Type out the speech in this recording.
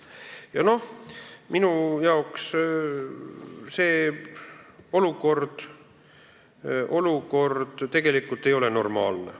Ja minu jaoks see olukord ei ole normaalne.